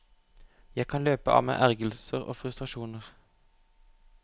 Jeg kan løpe av meg ergrelser og frustrasjoner.